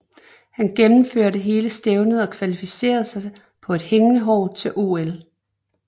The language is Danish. Han genemførte hele stævnet og kvalificerede sig på et hængende hår til OL